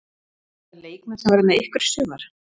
Eru þetta leikmenn sem verða með ykkur í sumar?